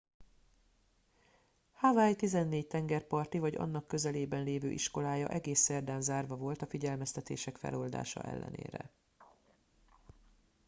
hawaii tizennégy tengerparti vagy annak közelében lévő iskolája egész szerdán zárva volt a figyelmeztetések feloldása ellenére